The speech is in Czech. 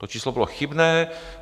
To číslo bylo chybné.